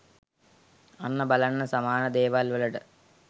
අන්න බලන්න සමාන ‍දේවල් වලට